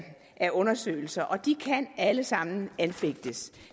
af undersøgelser og de kan alle sammen anfægtes